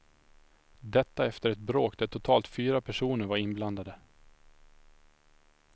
Detta efter ett bråk där totalt fyra personer var inblandade.